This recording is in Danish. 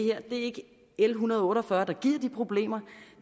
er en hundrede og otte og fyrre der giver de problemer